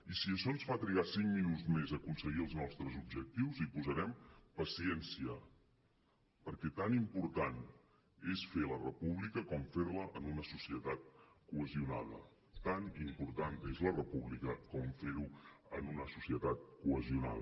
i si això ens fa trigar cinc minuts més a aconseguir els nostres objectius hi posarem paciència perquè tan important és fer la república com fer la en una societat cohesionada tan important és la república com ferho en una societat cohesionada